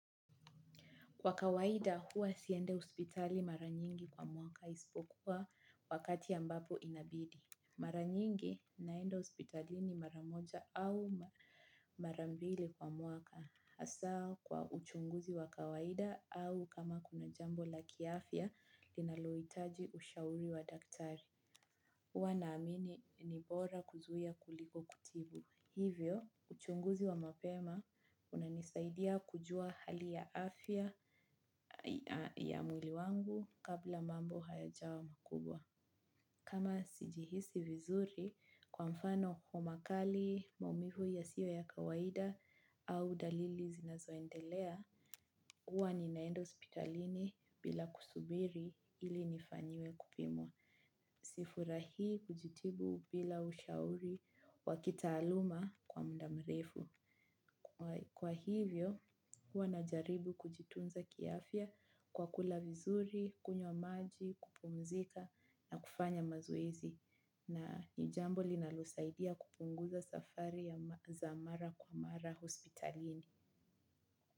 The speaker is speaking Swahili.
Kwa kawaida huwa siendi hospitali mara nyingi kwa mwaka isipokuwa wakati ambapo inabidi. Mara nyingi naenda hospitalini mara moja au mara mbili kwa mwaka. Hasa kwa uchunguzi wa kawaida au kama kuna jambo la kiafya linaloitaji ushauri wa daktari. Huwa naamini ni bora kuzuia kuliko kutibu. Hivyo, uchunguzi wa mapema unanisaidia kujua hali ya afya. Ya mwili wangu kabla mambo hayajawa makubwa. Kama sijihisi vizuri kwa mfano kwa makali maumivu yasiyo ya kawaida au dalili zinazoendelea, huwa ninaenda hospitalini bila kusubiri ili nifanyiwe kupimwa. Sifurahi kujitibu bila ushauri wakitaaluma kwa mda mrefu. Kwa hivyo, huwa najaribu kujitunza kiafya kwa kula vizuri, kunywa maji, kupumzika na kufanya mazoezi na nijambo linalo saidia kupunguza safari za mara kwa mara hospitalini.